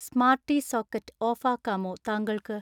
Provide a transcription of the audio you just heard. സ്മാർടിസോക്കറ്റ് ഓഫാക്കമോ താങ്കൾക്